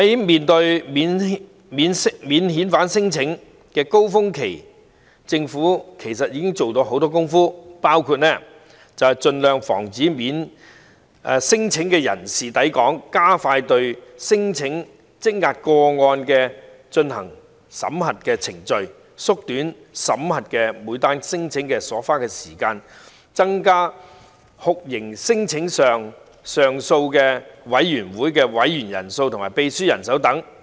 面對免遣返聲請的高峰期，其實政府已經做了很多工夫，包括盡量防止聲請的人士來港、加快對聲請積壓個案進行審核程序、縮短審核每宗聲請所花的時間，以及增加酷刑聲請上訴委員會的委員人數和秘書處人手。